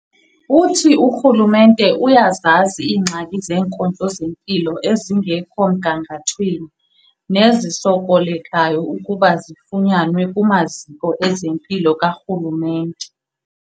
Uthi urhulumente uyazazi iingxaki zeenkonzo zempilo ezingekho mgangathweni nezisokolekayo ukuba zifunyanwe kumaziko ezempilo karhulumente.